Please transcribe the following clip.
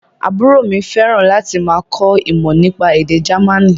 Àbúrò mi fẹ́ràn láti máa kọ́ ìmọ̀ nípa èdè Jamaní